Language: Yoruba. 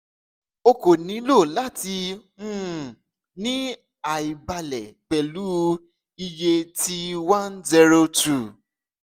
o ko nilo lati um ni aibalẹ pẹlu iye ti 102